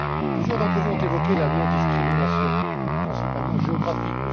Plusieurs d'entre vous ont évoqué la non discrimination, principalement géographique.